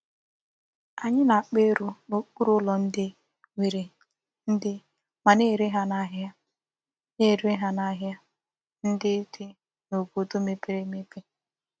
Anyi na-akpa ero n'okpuru ulo ndi nwere ndi ma na-ere ha n'ahia na-ere ha n'ahia ndi di n'obodo mepere emepe.